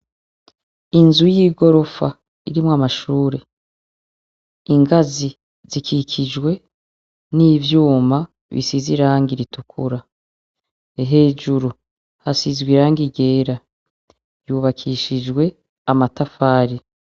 Inzu y'igorofa irimwo amashure ingazi zikikijwe n'ivyuma bisiza iranga ritukura hejuru hasizwa irange igera yubakishijwe amatafari.